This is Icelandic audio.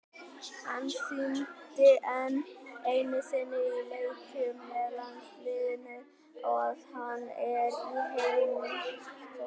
Hann sýndi enn einu sinni í leikjum með landsliðinu að hann er í heimsklassa.